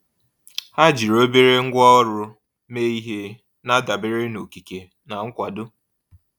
Ha jiri obere ngwá ọrụ mee ihe, na-adabere na okike na nkwado.